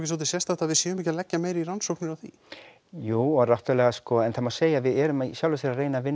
svolítið sérstakt að við séum ekki að leggja meira í rannsóknir á því jú og náttúrulega sko en það má segja við erum í sjálfu sér að reyna að vinna